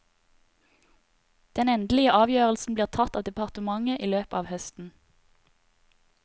Den endelige avgjørelsen blir tatt av departementet i løpet av høsten.